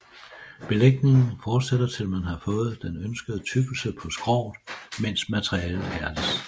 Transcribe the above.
Belægningen fortsætter til man har fået den ønskede tykkelse på skroget mens materialet hærdes